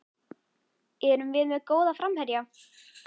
Erum við með góða framherja?